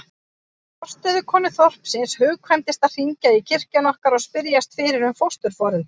Forstöðukonu þorpsins hugkvæmdist að hringja í kirkjuna okkar og spyrjast fyrir um fósturforeldra.